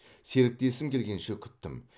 серіктесім келгенше күттім